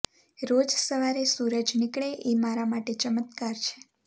રોજ સવારે સૂરજ નીકળે એ મારા માટે ચમત્કાર છે